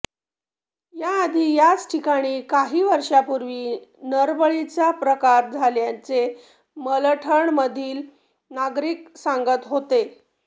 या आधी याच ठिकाणी काही वर्षापुर्वी नरबळीचा प्रकार झाल्याचे मलठण मधील नागरीक सांगत होते